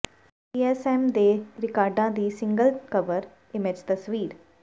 ਪੀ S M ਦੇ ਰਿਕਾਰਡਾਂ ਦੀ ਸਿੰਗਲ ਕਵਰ ਇਮੇਜ ਤਸਵੀਰ